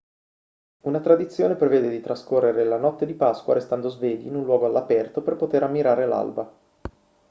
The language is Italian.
una tradizione prevede di trascorrere la notte di pasqua restando svegli in un luogo all'aperto per poter ammirare l'alba